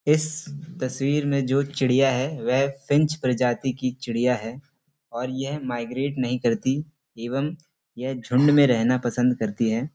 इस तस्वीर में जो चिड़िया है वह फिंच प्रजाति की चिड़िया है और यह माइग्रेट नहीं करती एवं यह झुण्ड में रहना पसंद करती है।